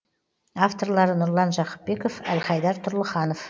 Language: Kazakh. авторлары нұрлан жақыпбеков әлхайдар тұрлыханов